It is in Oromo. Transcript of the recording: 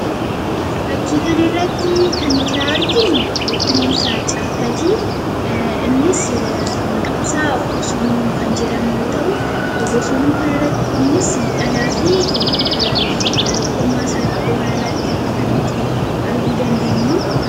Fakkii kanarraatti kan nuti arginuu bineensa caakkaatii. innis maqaansaa bosonuu kan jedhamu yoo ta'u, bosonu kanis dhalaafi kormaasaati iddoo kanarratti kan nuti arguu dandeenyuu.